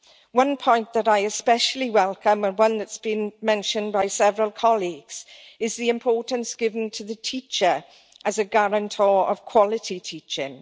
One point that I especially welcome, and one that has been mentioned by several colleagues, is the importance given to the teacher as a guarantor of quality teaching.